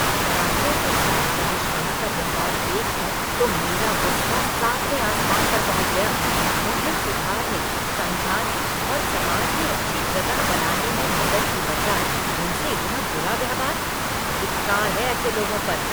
शराबियों के साथ बहिष्कार का व्यवहार देखकर तो मेरा गुस्सा सातवें आसमान पर पहुँच गया। उन्हें सुधारने, समझाने और समाज में अच्छी जगह बनाने में मदद की बजाय उनसे इतना बुरा व्यवहार, धिक्कार है ऐसे लोगों पर!